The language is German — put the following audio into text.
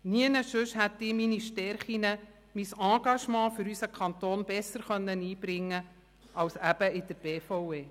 Nirgendwo anders hätte ich meine Stärken, mein Engagement für unseren Kanton besser einbringen können als eben in der BVE.